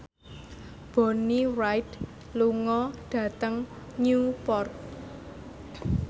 Bonnie Wright lunga dhateng Newport